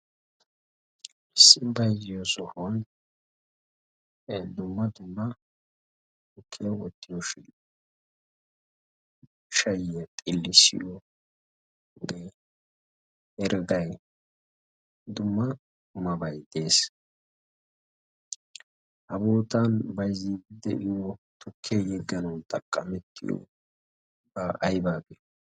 issi baizziyo sohun e dumma dumma tukkiya wottiyo shin shayya xillissiyoogee hrggai dumma mabai dees. ha bootan baizzi de7iyo tokkee yegganaun taqqamettiyo ba aibaagiyo?